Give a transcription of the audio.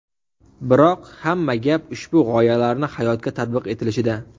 Biroq hamma gap ushbu g‘oyalarni hayotga tatbiq etilishida.